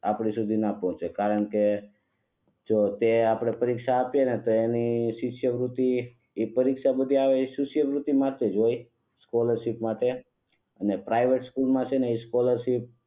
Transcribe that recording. આપણે સુધી ના પોહોચે કારણ કે જો તે આપણે પરીક્ષા આપીયે ને તો એની શિષ્યવૃત્તિ ઈ પરીક્ષા આવે ઈ શિષ્યવૃત્તિ હોય સ્કોલરશિપ માટે અને સ્કોલરશિપ માં છે ને તે